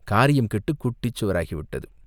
காரியம் கெட்டுக் குட்டிச்சுவராகி விட்டது.